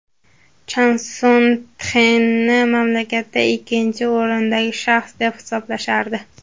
Chan Son Txekni mamlakatda ikkinchi o‘rindagi shaxs, deb hisoblashardi.